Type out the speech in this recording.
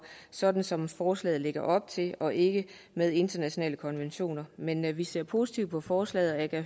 sådan som forslaget lægger op til og ikke med internationale konventioner men vi ser positivt på forslaget og